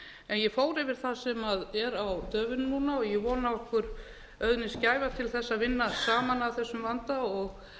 ég fór yfir það sem er á döfinni núna og ég vona að okkur auðnist gæfa til þess að vinna saman að þessum vanda og